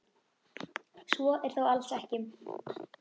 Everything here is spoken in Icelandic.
Svo er þó alls ekki.